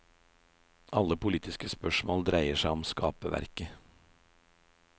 Alle politiske spørsmål dreier seg om skaperverket.